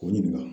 K'u ɲininka